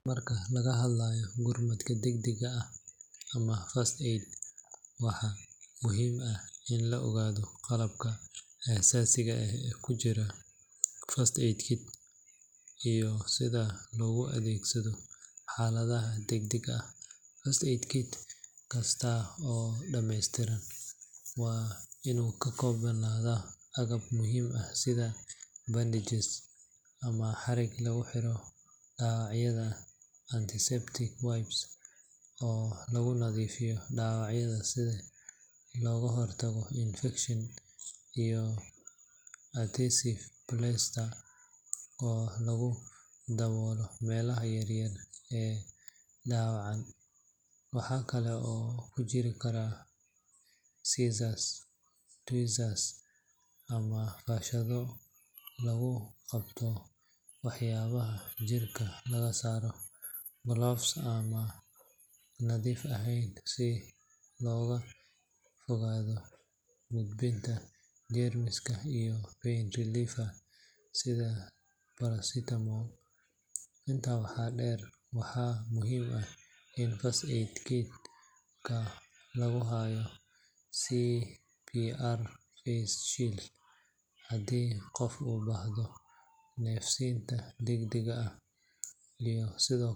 Marka laga hadlayo gurmadka degdegga ah ama first aid, waxaa muhiim ah in la ogaado qalabka aasaasiga ah ee ku jira first aid kit iyo sida loogu adeegsado xaaladaha degdegga ah. First aid kit kasta oo dhameystiran waa inuu ka koobnaadaa agab muhiim ah sida bandages ama xarig lagu xiro dhaawacyada, antiseptic wipes oo lagu nadiifiyo dhaawacyada si looga hortago infekshan, iyo adhesive plasters oo lagu daboolo meelaha yaryar ee dhaawacan. Waxaa kale oo ku jiri kara scissors, tweezers ama faashado lagu qabto waxyaabaha jirka laga saaro, gloves aan nadiif ahayn si looga fogaado gudbinta jeermiska, iyo pain relievers sida paracetamol. Intaa waxaa dheer, waxaa muhiim ah in first aid kit-ka lagu hayo CPR face shield haddii qof u baahdo neef-siinta degdegga ah, iyo sidoo.